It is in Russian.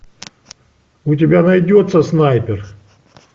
у тебя найдется снайпер